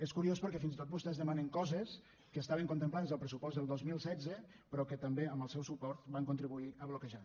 és curiós perquè fins i tot vostès demanen coses que estaven contemplades al pressupost del dos mil setze però que també amb el seu suport van contribuir a bloquejar